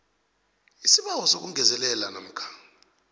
isibawo sokungezelela namkha